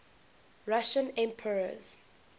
russian emperors